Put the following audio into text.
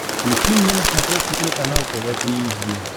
включи мне на смотрешке телеканал тв три эйч ди